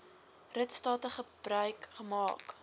ritstate gebruik gemaak